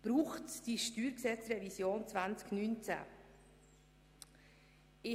Braucht es die StG-Revision 2019?